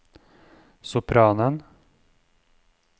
sopranen